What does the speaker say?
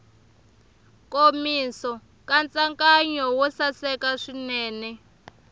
nkomiso nkatsakanyo wo saseka swinene